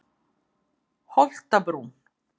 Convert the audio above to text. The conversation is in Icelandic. Holtabrún